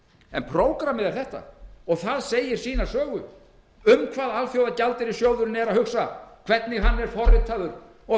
en prógrammið er þetta og það segir sína sögu um hvað alþjóðagjaldeyrissjóðurinn er að hugsa hvernig hann er forritaður og